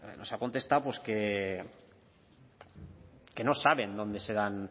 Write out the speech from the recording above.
nos ha contestado que no saben